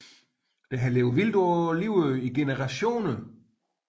Der har levet vildt på Livø i generationer